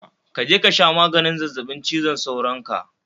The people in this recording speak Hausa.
Kaje kasha maganin zazzabin cizon sauron ka